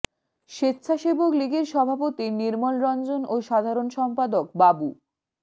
স্বেচ্ছাসেবক লীগের সভাপতি নির্মল রঞ্জন ও সাধারণ সম্পাদক বাবু